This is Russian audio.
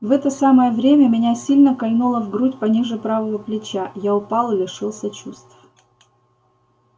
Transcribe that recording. в это самое время меня сильно кольнуло в грудь пониже правого плеча я упал и лишился чувств